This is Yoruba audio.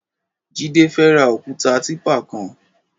Jide fè rà ókùtá tìpá kán